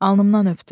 Alnımdan öpdü.